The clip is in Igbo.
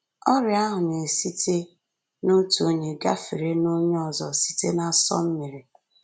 Ọrịa ahụ na-esite n’otu onye gafere n’onye ọzọ site n’asọ mmiri